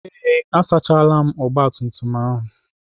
Ee, asachaala ọgbatumtum ahụ.